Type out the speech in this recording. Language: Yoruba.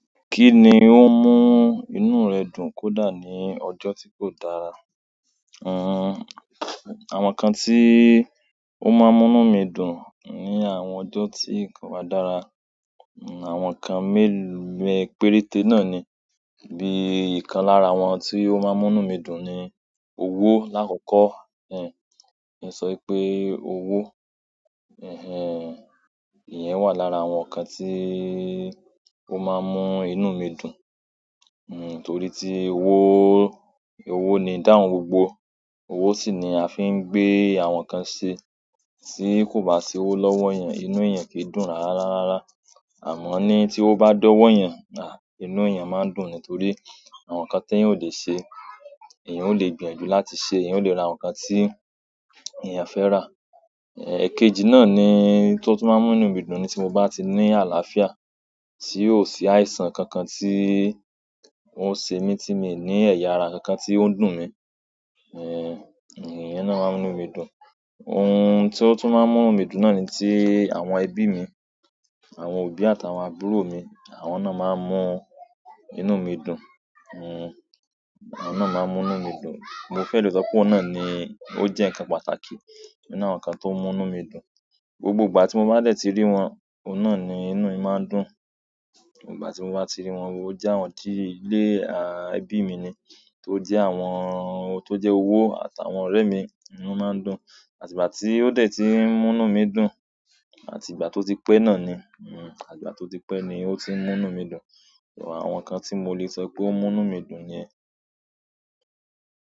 Kí ni ó ń mú inú rẹ dùn kódà ní ọjọ́ tí kò dára? Hmm, àwọn nǹkan tí ó máa ń mú inú mi dùn ní àwọn ọjọ́ tí nǹkan bá dára, àwọn nǹkan mélòó péréte náà ni. Bíi ìkan lára àwọn tí ó máa ń mú inú mi dùn ni owó lákọkọ́. Ẹ̀n, ẹ̀ sọ pé owó. Ẹ̀hẹ́n, ìyẹn wà lára àwọn nǹkan tí ó máa ń mú inú mi dùn. Hmm, torí tí owó, owó ni ìdáhùn gbogbo. Owó sì ni a fi ń gbé àwọn nǹkan ṣe. Tí kò bá sí owó lọ́wọ́ èèyàn, inú èèyàn kì í dùn rárá rara. Àmọ́ ní tí owó bá dọ́wọ́ èèyàn, à, inú èèyàn máa ń dùn nítorí àwọn nǹkan tí èèyàn ó lè ṣe, èèyàn ó lè gbìyànjú láti ṣe, èèyàn ó lè ra àwọn nǹkan tí èèyàn fẹ́ rà. Ẹ̀kejì náà ni, tó tún máa ń mú inú mi dùn ni tí mo bá ti ní àlàáfíà, tí ò sí àìsàn kankan tí ó ń ṣe mí, tí mi ò ní ẹ̀yà ara kankan tí ó ń dùn mí. Ẹ̀hẹ́n, ìyẹn náà máa ń mú inú mi dùn. Ohun tí ó tún máa ń mú inú mi dùn náà ni tí àwọn ẹbí mi, àwọn òbí àtàwọn àbúrò mi, àwọn náà máa ń mú inú mi dùn. Hmm, àwọn náà máa ń mú inú mi dùn. Mo fẹ́ lè sọ pé oun náà ni ó jẹ́ nǹkan pàtàkì nínú àwọn nǹkan tó ń mú inú mi dùn. Gbogbo ìgbà tí mo bá dẹ̀ ti rí wọn, oun náà ni inú mi máa ń dùn. Ìgbà tí mo bá ti rí wọn wò ó jẹ́ àwọn tí ilé, à, ẹbí mi ni, tó jẹ́ àwọn tó jẹ́ owó àtàwọn ọ̀rẹ́ mi, inú máa ń dùn. Àti ìgbà tí ó dẹ̀ ti ń mú inú mi dùn, àti ìgbà tí ó ti pẹ náà ni, hmm, àti ìgbà tí ó ti pẹ ni ó ti ń mú inú mi dùn. Ẹ̀wà àwọn nǹkan tí mo lè sọ pé ó mú inú mi dùn niyẹn.